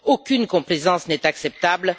Aucune complaisance n'est acceptable.